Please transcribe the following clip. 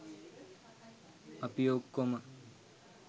අපි ඔක්කොම